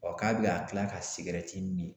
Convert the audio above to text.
Ɔ k'a bi ka kila ka sigɛrɛti mi